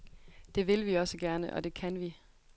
Det vil vi også gerne, og det kan vi.